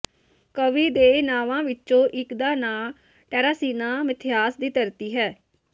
ਕਵੀ ਦੇ ਨਾਂਵਾਂ ਵਿੱਚੋਂ ਇਕ ਦਾ ਨਾਂ ਟੈਰਾਸੀਨਾ ਮਿਥਿਹਾਸ ਦੀ ਧਰਤੀ ਹੈ